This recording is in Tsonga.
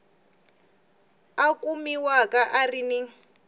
a kumiwaka a ri ni